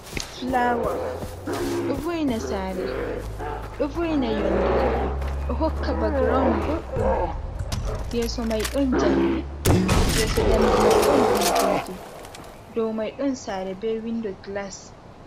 Fulawa, ɗo vo'ina yonde, ɗo hokka ba ground boɗɗum, yeso mai ɗon njamdi, yeso njamdi mai ɗon bulbuldi, dow mai ɗon saare be windo gilas.